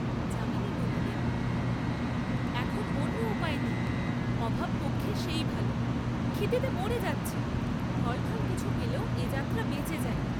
যামিনী বলিলেন, এখন অন্য উপায় নেই অভাব পক্ষে সেই ভাল, ক্ষিদেতে মরে যাচ্ছি, ফলটল কিছু পেলেও এ যাত্রা বেঁচে যাই।